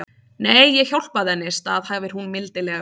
Nei, ég hjálpaði henni, staðhæfir hún mildilega.